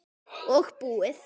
Og búið.